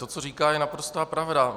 To, co říká, je naprostá pravda.